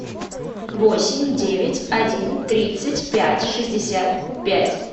восемь девять один тридцать пять шестьдесят пять